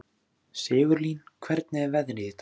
Sigurlín, hvernig er veðrið í dag?